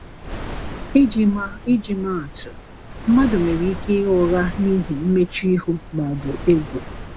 iji ma iji ma atụ, mmadụ nwere ike ịgha ụgha n’ihi mmechuihu ma ọ bụ egwu.